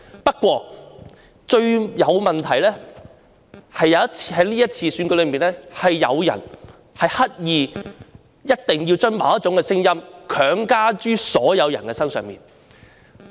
不過，這次選舉最大的問題，是有人刻意將某種聲音強加於所有人身上。